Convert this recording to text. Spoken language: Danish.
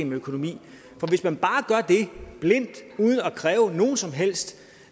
med økonomi for hvis man bare gør det blindt uden at kræve nogen som helst